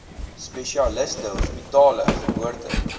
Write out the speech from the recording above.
spesialiste hospitale geboorte